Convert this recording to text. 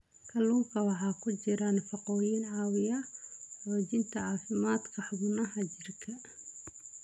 Kalluunka waxaa ku jira nafaqooyin caawiya xoojinta caafimaadka xubnaha jirka.